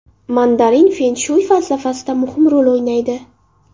Mandarin fen-shuy falsafasida muhim rol o‘ynaydi.